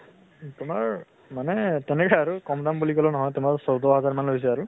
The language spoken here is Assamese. তোমাৰ মানে তেনেকে আৰু । কম দাম বুলি কলে নহয়, তোমাৰ চৌধʼ হাজাৰ মান লৈছে আৰু।